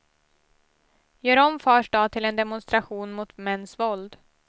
Gör om fars dag till en demonstration mot mäns våld.